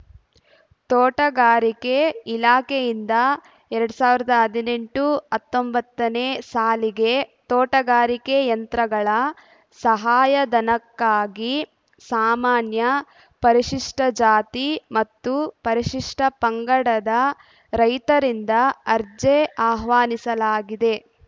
ತೋಟಗಾರಿಕೆ ಇಲಾಖೆಯಿಂದ ಎರಡ್ ಸಾವಿರದ ಹದಿನೆಂಟು ಹತ್ತೊಂಬತ್ತನೇ ಸಾಲಿಗೆ ತೋಟಗಾರಿಕೆ ಯಂತ್ರಗಳ ಸಹಾಯಧನಕ್ಕಾಗಿ ಸಾಮಾನ್ಯ ಪರಿಶಿಷ್ಟ ಜಾತಿ ಮತ್ತು ಪರಿಶಿಷ್ಟ ಪಂಗಡದ ರೈತರಿಂದ ಅರ್ಜಿ ಆಹ್ವಾನಿಸಲಾಗಿದೆ